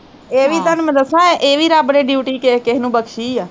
ਏਹ ਵੀ ਤੁਹਾਨੂੰ ਮੈਂ ਦੱਸਾਂ ਏਹ ਵੀ ਰੱਬ ਨੇ duty ਕਿਸੇ ਕਿਸੇ ਨੂੰ ਬਖਸ਼ੀ ਆ